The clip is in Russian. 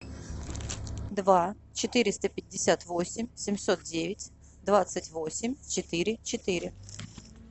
два четыреста пятьдесят восемь семьсот девять двадцать восемь четыре четыре